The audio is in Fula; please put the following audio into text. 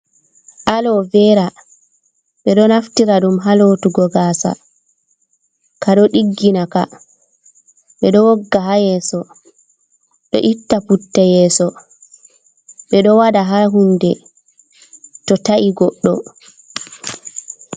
Alovera ɓe ɗo naftira ɗum ha lotugo gasa ka ɗo ɗiggina ka ɓe ɗo wogga ha yeso ɗo itta putte yeso ɓe do wada ha hunɗe to ta’i goddo.